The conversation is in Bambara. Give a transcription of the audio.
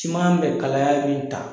Siman bɛ kalayali min ta